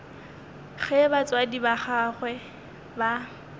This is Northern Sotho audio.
ge batswadi ba gagwe ba